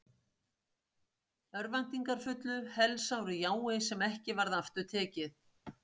Örvæntingarfullu, helsáru jái sem ekki varð aftur tekið.